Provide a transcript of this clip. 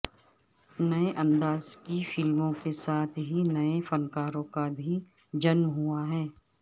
نئے انداز کی فلموں کے ساتھ ہی نئے فنکاروں کا بھی جنم ہوا ہے